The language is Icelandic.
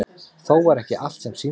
Þó var ekki allt sem sýndist.